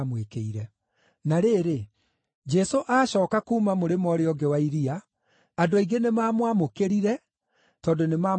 Na rĩrĩ, Jesũ aacooka kuuma mũrĩmo ũũrĩa ũngĩ wa iria, andũ aingĩ nĩmamwamũkĩrire tondũ nĩmamwetereire.